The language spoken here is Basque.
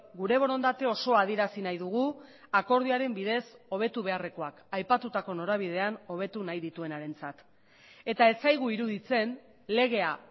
gure borondate osoa adierazi nahi dugu akordioaren bidez hobetu beharrekoak aipatutako norabidean hobetu nahi dituenarentzat eta ez zaigu iruditzen legea